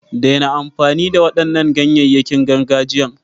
Daina amfani da waɗannan ganyayen gargajiyan!